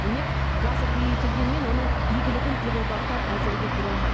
демек газ іргеге келгенмен оның игілігін елордалықтар әзірге көре алмайды